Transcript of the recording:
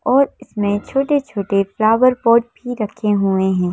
और इसमें छोटे-छोटे फ्लावर पॉट भी रखे हुए हैं।